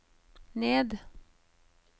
ned